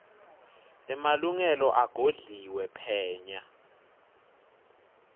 emalungelo agodliwe phenya